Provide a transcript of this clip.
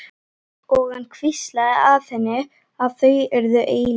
Og hann hvíslaði að henni að þau yrðu eilíf.